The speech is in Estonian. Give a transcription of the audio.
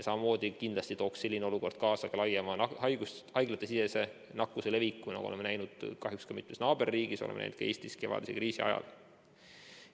Samamoodi tooks selline olukord kaasa ka laiema haiglatesisese nakkuse leviku, nagu oleme kahjuks näinud mitmes naaberriigis ja oleme näinud ka Eestis kevadise kriisi ajal.